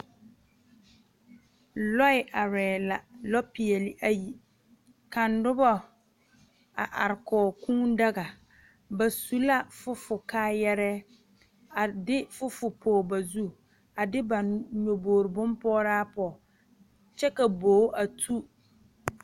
lɔɛ arɛɛ la, lɔ peɛle ayi, ka noba are kɔg kuu daga, ba su la fofo kaayaraa, a de fofo pɔge ba zu, a de ba nyɔgboge bompɔɔraa pɔge, kyɛ ka bogi a tu.